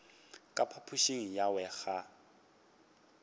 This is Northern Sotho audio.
ka phapošing ya gagwe ga